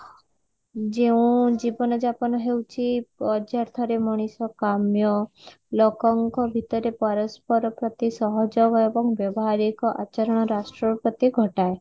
ଯେଉଁ ଜୀବନ ଯାପନ ହେଉଛି ପ୍ରଯ୍ୟାଥରେ ମଣିଷ କାମ୍ୟ ଲୋକଙ୍କ ଭିତରେ ପରସ୍ପର ପ୍ରତି ସହଯୋଗ ଏବଂ ବ୍ୟବହାରିକ ଆଚରଣ ରାଷ୍ଟ୍ର ପ୍ରତି ଘଟାଏ